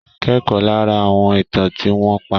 Kẹ́kọ̀ọ́ lára àwọn ìtàn tí wọ́n pa.